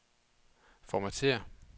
formatér